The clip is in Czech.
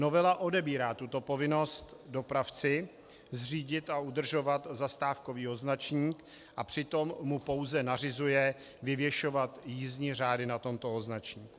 Novela odebírá tuto povinnost dopravci - zřídit a udržovat zastávkový označník - a přitom mu pouze nařizuje vyvěšovat jízdní řády na tomto označníku.